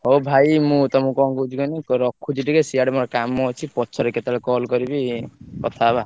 ହଉ, ହଉ ଭାଇ ମୁଁ ତମକୁ କଣ କହୁଥିଲି କୁହନି ସିଆଡେ ମୋର କାମ ଅଛି ପରେ କେତେବେଳେ।